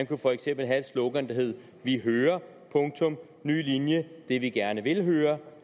kunne for eksempel have et slogan der hedder vi hører det vi gerne vil høre